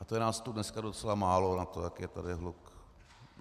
A to je nás tu dneska docela málo na to, jaký je tady hluk.